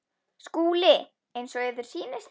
SKÚLI: Eins og yður sýnist.